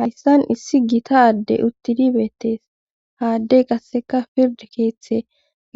Hayssan issi gita aaddey uttidi beettees haaddey qasseka pirde keeththe